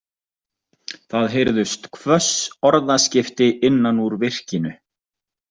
Það heyrðust hvöss orðaskipti innan úr virkinu.